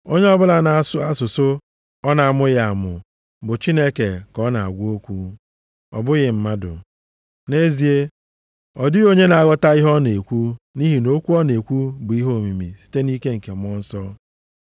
Onye ọbụla na-asụ asụsụ ọ na-amụghị amụ, bụ Chineke ka ọ na-agwa okwu, ọ bụghị mmadụ. Nʼezie, ọ dịghị onye na-aghọta ihe ọ na-ekwu; nʼihi na okwu ọ na-ekwu bụ ihe omimi site nʼike Mmụọ Nsọ.